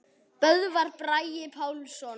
Böðvar Bragi Pálsson